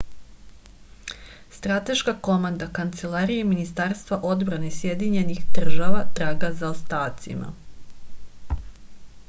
strateška komanda kancelarije ministarstva odbrane sjedinjenih država traga za ostacima